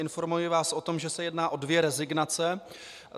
Informuji vás o tom, že se jedná o dvě rezignace.